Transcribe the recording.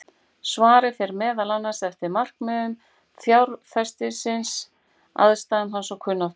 Svarið fer meðal annars eftir markmiðum fjárfestisins, aðstæðum hans og kunnáttu.